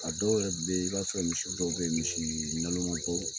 A dɔw yɛrɛ be ye i b'a sɔrɔ misi dɔw be ye misi naloman baw